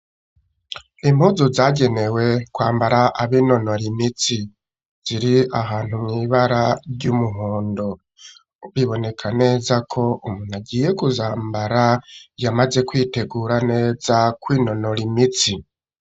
Impuzu zagenewe kwambara abinonora imitsi ziri ahantu mw' ibara ry'umuhondo biboneka neza ko umuntu agiye kuzambara yamaze kwitegura neza kwinonora imitsi.